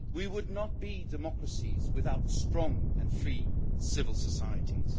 We would not be democracies without strong and free civil societies.